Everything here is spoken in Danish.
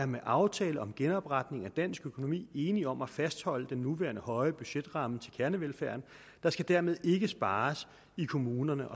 med aftale om genopretning af dansk økonomi er enige om at fastholde den nuværende høje budgetramme til kernevelfærden der skal dermed ikke spares i kommunerne